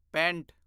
pant